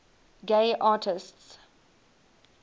gay artists